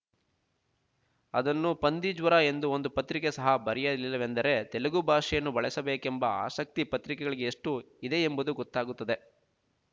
ಅದನ್ನು ಪಂದಿಜ್ವರ ಎಂದು ಒಂದು ಪತ್ರಿಕೆ ಸಹ ಬರೆಯಲಿಲ್ಲವೆಂದರೆ ತೆಲುಗು ಭಾಷೆಯನ್ನು ಬಳಸಬೇಕೆಂಬ ಆಸಕ್ತಿ ಪತ್ರಿಕೆಗಳಿಗೆ ಎಷ್ಟು ಇದೆಂಬುದು ಗೊತ್ತಾಗುತ್ತದೆ